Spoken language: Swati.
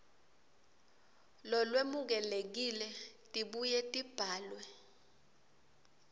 lolwemukelekile tibuye tibhalwe